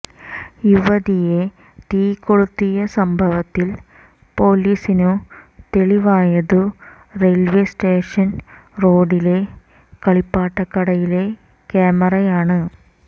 യുവതിയെ തീ കൊളുത്തിയ സംഭവത്തിൽ പൊലീസിനു തെളിവായതു റെയിൽവേ സ്റ്റേഷൻ റോഡിലെ കളിപ്പാട്ടക്കടയിലെ ക്യാമറയാണ്